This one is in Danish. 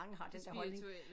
Det spirituelle